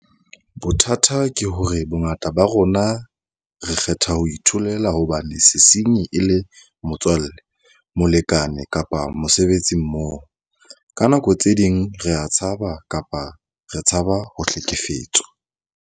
Bothata ke hore bongata ba rona re kgetha ho itholela hobane sesenyi e le motswalle, molekane kapa mosebetsimmoho. Ka nako tse ding rea tshaba kapa re tshaba ho hlekefetswa.